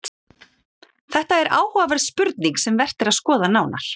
Þetta er áhugaverð spurning sem vert er að skoða nánar.